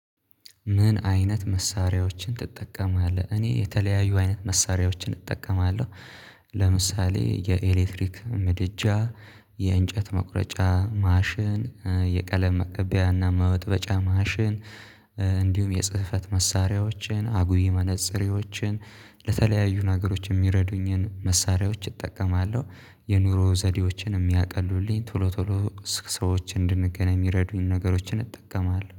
ምን አይነት መሳሪያዎችን ትጠቀማለህ? እኔ የተለያዩ አይነት መሳሪያዎችን እጠቀማለሁ። ለምሳሌ የኤሌክትሪክ ምድጃ የእንጨት መቁረጫ ማሽን የቀለም መቅቢያና መበጥበጫ ማሽን። እንዲሁም የጽህፈት መሳሪያዎችን አጉይ መነጽሬዎችን ለተለያዩ ነገሮች የሚረዱኝን መሳሪያዎች እጠቀማለሁ። የኑሮ ዘዴዎችን የሚያቀሉልኝ ቶሎ ቶሎ ሰዎች እንድንገናኝ የሚረዱኝን ነገሮችን እጠቀማለሁ